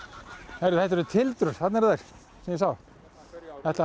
heyrðu þetta eru þarna eru þær sem ég sá